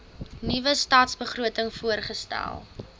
nuwe stadsbegroting voorgestel